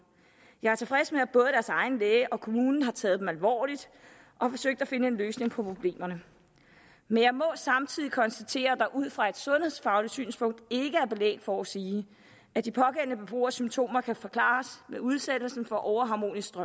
jeg er tilfreds med at både deres egen læge og kommunen har taget dem alvorligt og forsøgt at finde en løsning på problemerne men jeg må samtidig konstatere at der ud fra et sundhedsfagligt synspunkt ikke er belæg for at sige at de pågældende beboeres symptomer kan forklares ved udsættelsen for overharmoniske